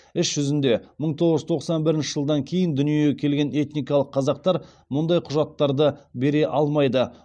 іс жүзінде мың тоғыз жүз тоқсан бірінші жылдан кейін дүниеге келген этникалық қазақтар мұндай құжаттарды бере алмайды